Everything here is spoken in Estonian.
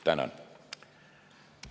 Tänan!